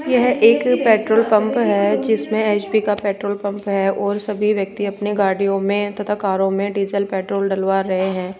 यह एक petrol pump है जिसमें एच_पी का पेट्रोल का पंप है और सभी व्यक्ति अपने गाड़ियों में तथा कारों में डीजल पेट्रोल डलवा रहे हैं।